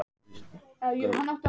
Hann reyndist vera fótbrotinn